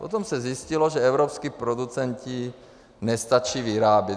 Potom se zjistilo, že evropští producenti nestačí vyrábět.